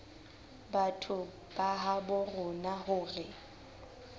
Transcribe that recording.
batho ba habo rona hore